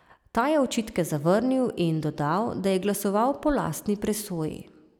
Ta je očitke zavrnil in dodal, da je glasoval po lastni presoji.